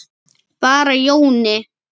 Bara Jóni.